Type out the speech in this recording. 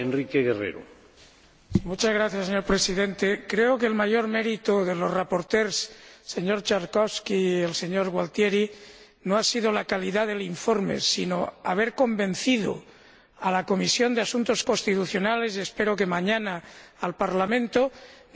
Señor Presidente, creo que el mayor mérito de los ponentes, los señores Trzaskowski y Gualtieri, no ha sido la calidad del informe, sino haber convencido a la Comisión de Asuntos Constitucionales —y espero que, mañana, al Parlamento— de que se trataba de la solución